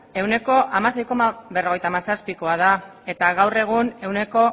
ehuneko hamasei koma berrogeita hamazazpikoa da eta gaur egun ehuneko